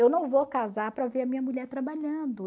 Eu não vou casar para ver a minha mulher trabalhando.